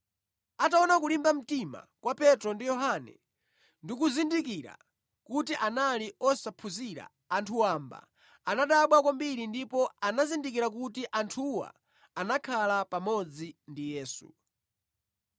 Ataona kulimba mtima kwa Petro ndi Yohane ndi kuzindikira kuti anali osaphunzira, anthu wamba, anadabwa kwambiri ndipo anazindikira kuti anthuwa anakhala pamodzi ndi Yesu.